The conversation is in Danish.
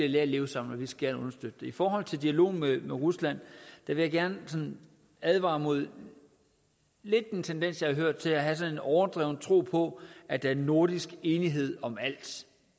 lære at leve sammen og vi skal understøtte det i forhold til dialogen med rusland vil jeg gerne advare mod en tendens jeg hørt til at have sådan en overdreven tro på at der er nordisk enighed om alt